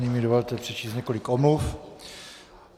Nyní mi dovolte přečíst několik omluv.